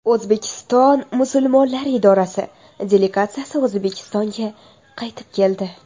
O‘zbekiston musulmonlari idorasi delegatsiyasi O‘zbekistonga qaytib keldi.